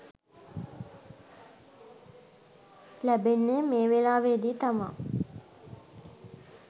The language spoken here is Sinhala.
ලැබෙන්නේ මේ වෙලාවේදී තමා.